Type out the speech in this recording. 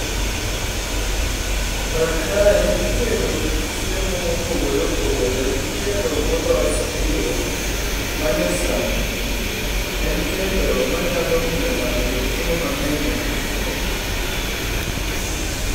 Kar kae itedo kit chiemo mopogore opogore gi kendo molos e yoo ma nyasani. En kendo manyalo miyo ng'ato ted chiemo mang'eny nyadichiel.